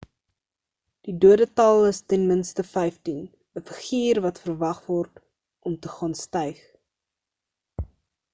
die dodetal is ten minste 15 'n figuur wat verwag word om te gaan styg